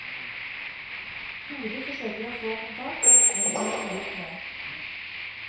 Tore forsøker å få kontakt, men må gi opp nå.